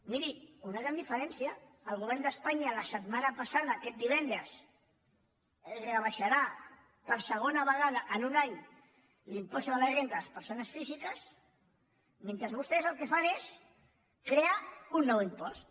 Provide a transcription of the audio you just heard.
miri una gran diferència el govern d’espanya la setmana passada aquest divendres rebaixarà per segona vegada en un any l’impost sobre la renda de les persones físiques mentre vostès el que fan és crear un nou impost